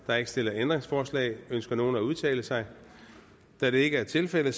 er ikke stillet ændringsforslag ønsker nogen at udtale sig da det ikke er tilfældet